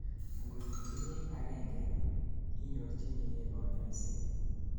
angot itinyei agengei, inyorjigei kanyoiset